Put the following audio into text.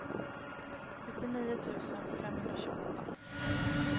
sjuttionio tusen femhundratjugoåtta